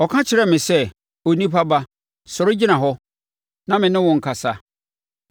Ɔka kyerɛɛ me sɛ, “Onipa ba, sɔre gyina hɔ, na me ne wo nkasa.”